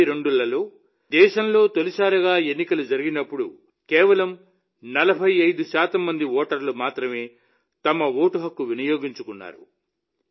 195152లో దేశంలో తొలిసారిగా ఎన్నికలు జరిగినప్పుడు కేవలం 45 శాతం మంది ఓటర్లు మాత్రమే తమ ఓటు హక్కు వినియోగించుకున్నారు